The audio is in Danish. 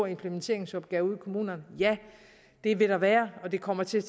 implementeringsopgave ude i kommunerne ja det vil der være og det kommer til at